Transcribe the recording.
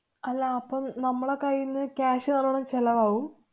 അല്ലാ, അപ്പം നമ്മുടെ കൈയീന്ന് cash നല്ലോണം ചെലവാവും?